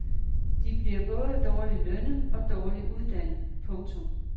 De bliver både dårligt lønnet og dårligt uddannet. punktum